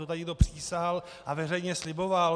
To tady někdo přísahal a veřejně sliboval?